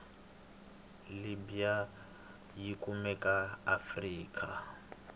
libya yikumeka aafrika